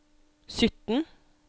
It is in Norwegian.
sytten